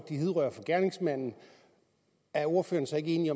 de hidrører fra gerningsmanden er ordføreren så ikke enig i